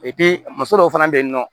muso dɔw fana bɛ yen nɔ